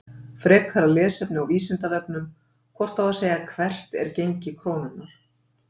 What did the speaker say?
Frekara lesefni á Vísindavefnum: Hvort á að segja Hvert er gengi krónunnar?